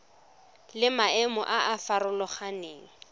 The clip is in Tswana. le maemo a a farologaneng